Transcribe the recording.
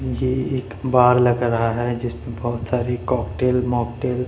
ये एक बार लग रहा है जिसपे बहोत सारी कॉकटेल मॉकटेल --